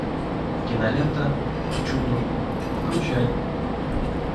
кинолента к чуду включай